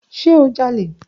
Ṣe o jale?